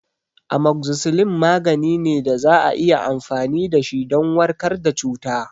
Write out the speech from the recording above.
Amoxicilin magani ne da za a iya amfani dashi don warkar da cuta